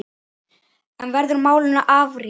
En verður málinu áfrýjað?